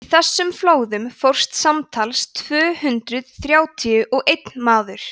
í þessum flóðum fórst samtals tvö hundruð þrjátíu og einn maður